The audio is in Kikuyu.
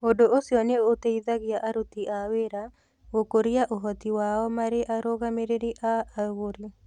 Ũndũ ũcio nĩ ũteithagia aruti a wĩra gũkũria ũhoti wao marĩ arũgamĩrĩri a agũri.